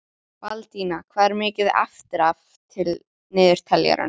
Baldína, hvað er mikið eftir af niðurteljaranum?